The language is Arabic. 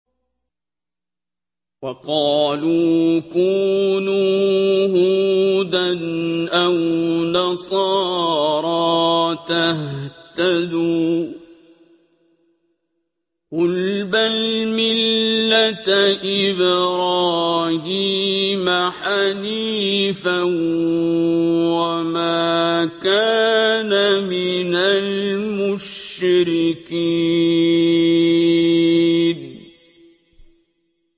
وَقَالُوا كُونُوا هُودًا أَوْ نَصَارَىٰ تَهْتَدُوا ۗ قُلْ بَلْ مِلَّةَ إِبْرَاهِيمَ حَنِيفًا ۖ وَمَا كَانَ مِنَ الْمُشْرِكِينَ